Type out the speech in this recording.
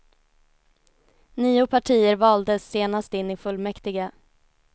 Nio partier valdes senast in i fullmäktige.